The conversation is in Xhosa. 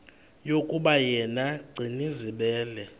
yokuba yena gcinizibele